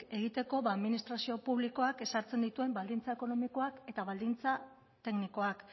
egiteko administrazio publikoak ezartzen dituen baldintza ekonomikoak eta baldintza teknikoak